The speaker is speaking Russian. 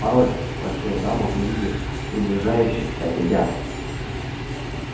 пароль спросила дама увидев приближающихся ребят